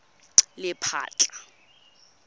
lephatla